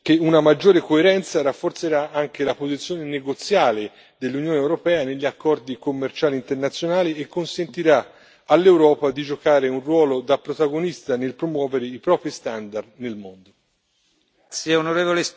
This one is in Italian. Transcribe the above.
Sono convinto, infine, che una maggiore coerenza rafforzerà anche la posizione negoziale dell'Unione europea negli accordi commerciali internazionali e consentirà all'Europa di giocare un ruolo da protagonista nel promuovere i propri standard nel mondo.